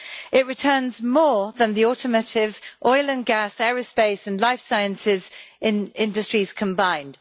It returns more than the automotive, oil and gas, aerospace and life sciences industries combined.